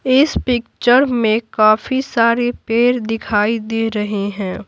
इस पिक्चर में काफी सारे पैर दिखाई दे रहे हैं।